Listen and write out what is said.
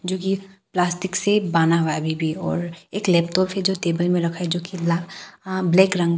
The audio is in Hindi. जो कि प्लास्टिक से बान्हा हुआ है अभी भी और एक लैपटॉप है जो टेबल में रखा है जो कि ब्लैक रंग का--